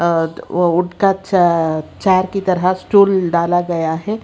अह वो वुड का चा चार की तरह स्टूल डाला गया है।